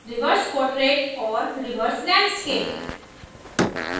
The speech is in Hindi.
reverse portrait और reverse landscape